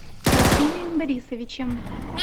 василием борисовичем